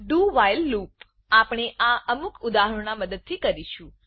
do while loop આપણે આ અમુક ઉદાહરણો ના મદદથી કરીશું